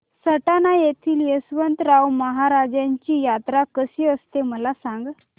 सटाणा येथील यशवंतराव महाराजांची यात्रा कशी असते मला सांग